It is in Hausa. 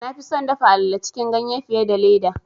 Na fi son dafa alale cikin ganye fiye da leda.